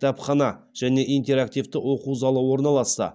кітапхана және интерактивті оқу залы орналасса